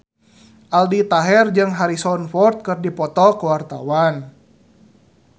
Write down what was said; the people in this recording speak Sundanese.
Aldi Taher jeung Harrison Ford keur dipoto ku wartawan